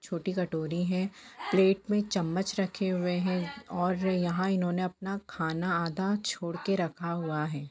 छोटी कटोरी है प्लेट मे चम्मच रखे हुए हैऔर यहां इन्होंने अपना खाना आधा छोड़ के रखा हुआ है।